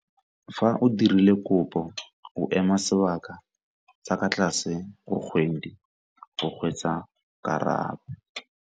Fa o dirile kopo, o ema sebaka sa kwa tlase go kgwedi go hwetša karabo.